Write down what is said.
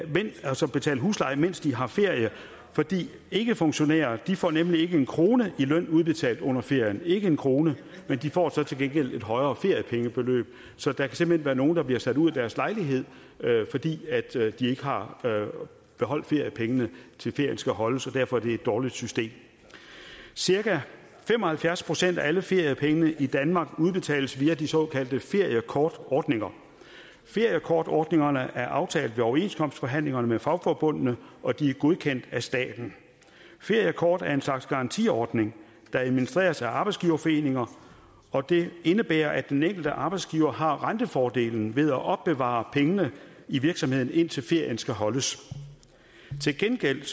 betale husleje mens de har ferie for ikkefunktionærer får nemlig ikke en krone i løn udbetalt under ferien ikke en krone men de får så til gengæld et højere feriepengebeløb så der kan simpelt hen være nogle der bliver sat ud af deres lejlighed fordi de ikke har beholdt feriepengene til ferien skal holdes og derfor er det et dårligt system cirka fem og halvfjerds procent af alle feriepengene i danmark udbetales via de såkaldte feriekortordninger feriekortordningerne er aftalt ved overenskomstforhandlingerne med fagforbundene og de er godkendt af staten feriekortordningen slags garantiordning der administreres af arbejdsgiverforeninger og det indebærer at den enkelte arbejdsgiver har rentefordelen ved at opbevare pengene i virksomheden indtil ferien skal holdes til gengæld